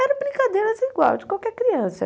Eram brincadeiras igual de qualquer criança.